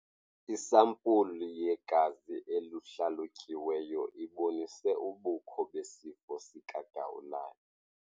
Isampulu yegazi eluhlalutyiweyo ibonise ubukho besifo sikagawulayo.